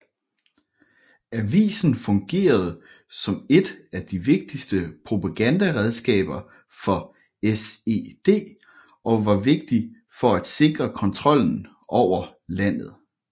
Avisen fungerede som et af de vigtigste propagandaredskaber for SED og var vigtig for at sikre kontrollen over landet